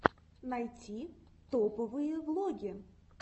найти топовые влоги